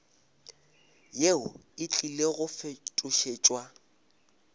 yeo e tlile go fetošetšwa